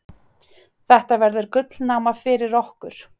Þetta verður gullnáma fyrir okkur.